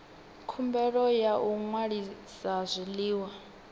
khumbelo ya u ṅwalisa zwiḽiwa